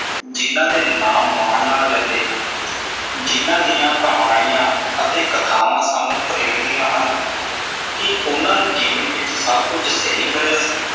ਜਿਨ੍ਹਾਂ ਦੇ ਨਾਮ ਮਾਣ ਨਾਲ ਲੈਂਦੇ ਹਾਂ ਜਿਨ੍ਹਾਂ ਦੀਆਂ ਕਹਾਣੀਆਂ ਅਤੇ ਕਥਾਵਾਂ ਸਾਨੂੰ ਪ੍ਰੇਰਦੀਆਂ ਹਨ, ਕੀ ਉਨ੍ਹਾਂ ਨੂੰ ਜੀਵਨ ਵਿੱਚ ਸਭ ਕੁਝ ਸਹੀ ਮਿਲਿਆ ਸੀ।